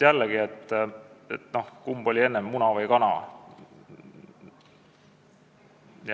Jällegi, kumb oli enne, muna või kana?